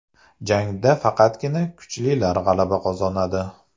Jangda faqatgina kuchlilar g‘alaba qozonadi.